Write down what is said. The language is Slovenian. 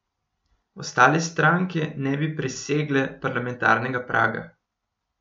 Ostale stranke ne bi presegle parlamentarnega praga.